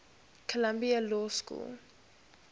columbia law school